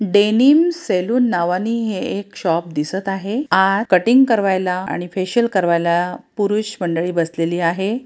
Denim salon नावानी हे एक शॉप दिसत आहे.आ कटिंग कारवायला आणि फेसिअल करवायला पुरुष मंडळी बसलेली आहे.